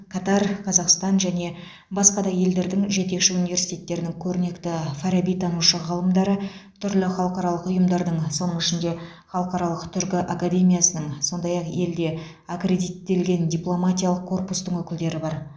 катар қазақстан және басқа да елдердің жетекші университеттерінің көрнекті фарабитанушы ғалымдары түрлі халықаралық ұйымдардың соның ішінде халықаралық түркі академиясының сондай ақ елде аккредиттелген дипломатиялық корпустың өкілдері бар